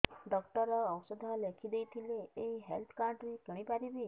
doctor ଔଷଧ ଲେଖିଦେଇଥିଲେ ଏଇ ହେଲ୍ଥ କାର୍ଡ ରେ କିଣିପାରିବି